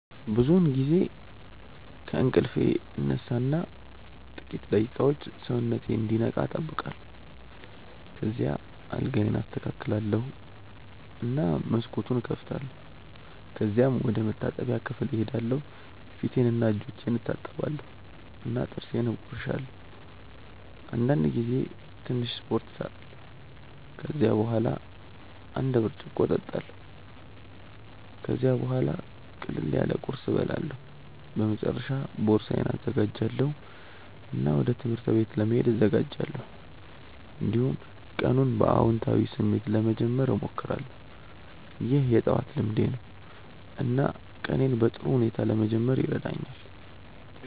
ብዙውን ጊዜ ከእንቅልፌ እነሳ እና ጥቂት ደቂቃዎች ሰውነቴን እንዲነቃ እጠብቃለሁ። ከዚያ አልጋዬን አስተካክላለሁ እና መስኮቱን እከፍታለሁ። ከዚያም ወደ መታጠቢያ ክፍል እሄዳለሁ ፊቴንና እጆቼን እታጠባለሁ እና ጥርሴን እቦርሳለሁ። አንዳንድ ጊዜ ትንሽ ስፖርት እሰራለሁ። ከዚያ በኋላ አንድ ብርጭቆ እጠጣለሁ። ከዚያም ቡሃላ ቅለል ያለ ቁርስ እበላለሁ። በመጨረሻ ቦርሳዬን እዘጋጃለሁ እና ወደ ትምህርት ቤት ለመሄድ እዘጋጃለሁ። እንዲሁም ቀኑን በአዎንታዊ ስሜት ለመጀመር እሞክራለሁ። ይህ የጠዋት ልምዴ ነው እና ቀኔን በጥሩ ሁኔታ ለመጀመር ይረዳኛል።